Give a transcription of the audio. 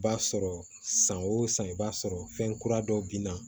B'a sɔrɔ san o san i b'a sɔrɔ fɛn kura dɔw bina